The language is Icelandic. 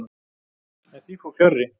En því fór fjarri.